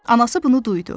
Anası bunu duydu.